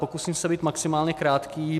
Pokusím se být maximálně krátký.